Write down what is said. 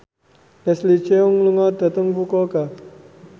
Leslie Cheung lunga dhateng Fukuoka